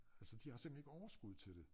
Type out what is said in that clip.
Altså de har simpelthen ikke overskud til det